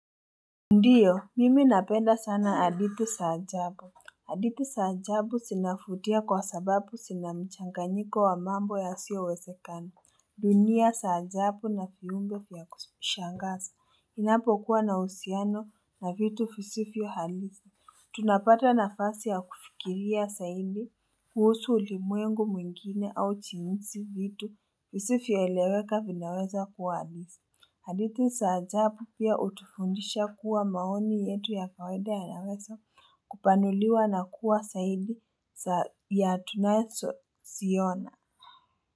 Ndio mimi napenda sana hadithi za ajabu hadithi za ajabu zinavutia kwa sababu zina mchanganyiko wa mambo yasiyowezekana dunia za ajabu na viumbe vya kushangaza inapokuwa na husiano na vitu visifyo halisi tunapata nafasi ya kufikiria zaidi kuhusu ulimwengu mwingine au jinsi vitu visivyoeleweka vinaweza kua halisi hadithi za ajabu pia utufundisha kuwa maoni yetu ya kawaida yanaweza kupanuliwa na kuwa zaidi za ya tunasoziona.